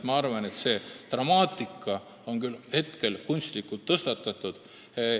Ma arvan, et dramaatika on küll hetkel kunstlikult tekitatud.